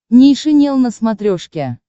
нейшенел на смотрешке